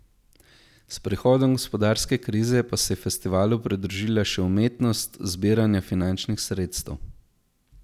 S prihodom gospodarske krize pa se je festivalu pridružila še umetnost zbiranja finančnih sredstev.